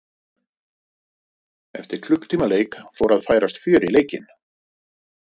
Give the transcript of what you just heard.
Eftir klukkutíma leik fór að færast fjör í leikinn.